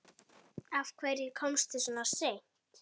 Af hverju komstu svona seint?